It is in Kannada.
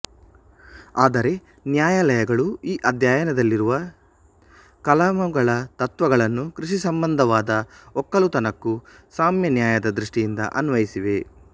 ಆದರೆ ನ್ಯಾಯಾಲಯಗಳು ಈ ಅಧ್ಯಾಯದಲ್ಲಿರುವ ಕಲಮುಗಳ ತತ್ತ್ವಗಳನ್ನು ಕೃಷಿಸಂಬಂಧವಾದ ಒಕ್ಕಲುತನಕ್ಕೂ ಸಾಮ್ಯನ್ಯಾಯದ ದೃಷ್ಟಿಯಿಂದ ಅನ್ವಯಿಸಿವೆ